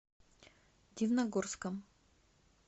дивногорском